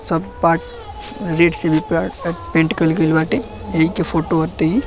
सब पाठ रेड से भी प पेन्ट कईल गईल बाटे एईके फोटो आते ही --